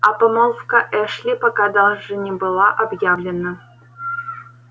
а помолвка эшли пока даже не была объявлена